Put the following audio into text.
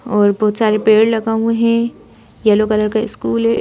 और बहुत सारे पेड़ लगा हुए हैं येलो कलर का स्कूल है।